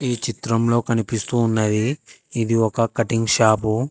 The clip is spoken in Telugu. ఈ చిత్రంలో కనిపిస్తూ ఉన్నది ఇది ఒక కట్టింగ్ షాపు .